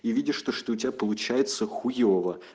и видишь то что у тебя получается хуёво